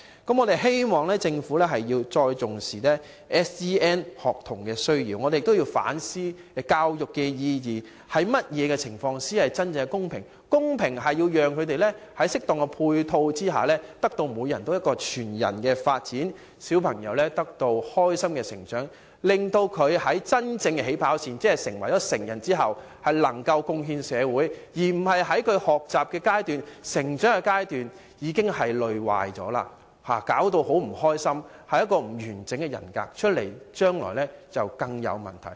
我希望政府重視 SEN 學童的需要，我們同時亦要反思教育意義，怎樣做才可真正讓他們在適當配套下得到全人發展，開心地成長，令他們在真正的起跑線即長大成人後能夠貢獻社會，而不是在學習和成長階段已經因累壞而變得不快樂，亦因此不能建立完整人格，日後引發更多問題。